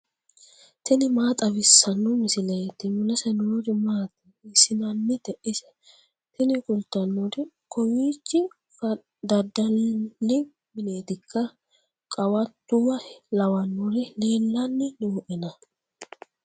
tini maa xawissanno misileeti ? mulese noori maati ? hiissinannite ise ? tini kultannori kowiichi fdadali mineetikka qawattuwa lawannori leellanni nooena